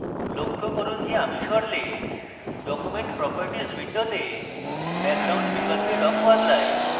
লক্ষ্য করুন যে আমি সরলে document properties window background বিকল্পে রঙ বদলায়